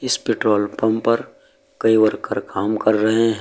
इस petrol pump पर कई वर्कर काम कर रहे हैं।